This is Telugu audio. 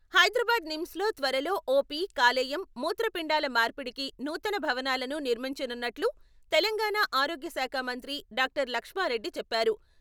హైదరాబాద్ నిమ్స్ లో త్వరలో ఓపీ, కాలేయం, మూత్రపిండాల మార్పిడికి నూతన భవనాలను నిర్మించనున్నట్లు తెలంగాణ ఆరోగ్య శాఖమంత్రి డాక్టర్ లక్ష్మారెడ్డి చెప్పారు.